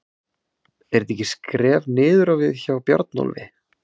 Er þetta ekki skref niður á við hjá Bjarnólfi?